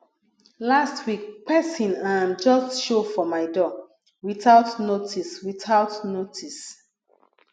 last week pesin um just show for my door without notice without notice